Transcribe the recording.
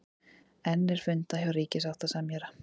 Enn er fundað hjá ríkissáttasemjara